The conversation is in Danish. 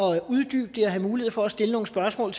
have mulighed for at stille nogle spørgsmål